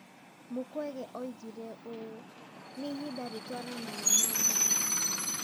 Mũkwege oigire ũũ: "Nĩ ihinda rĩtwaranaga na mbaara.